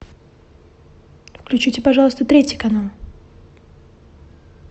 включите пожалуйста третий канал